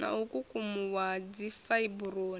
na u kukumuwa ha dzifaiburoni